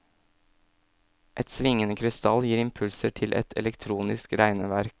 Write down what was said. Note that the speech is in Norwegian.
Et svingende krystall gir impulser til et elektronisk regneverk.